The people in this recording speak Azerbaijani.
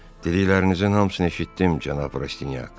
Diliklərinizin hamısını eşitdim, cənab Rastinyak.